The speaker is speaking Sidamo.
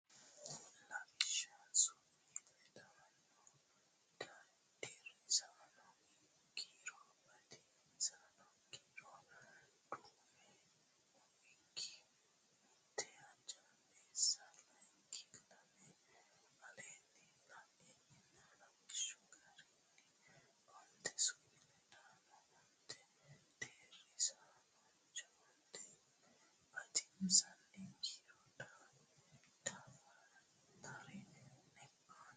Lawishsha Su mi ledaano Deerrisaano kiiro Batinyisaano kiiro duume umikki mite hojjaameessa layinki lame Aleenni la ini lawishshi garinni onte su mi ledaano onte deerrisaanonna onte batinyisaano kiiro daftari ne aana.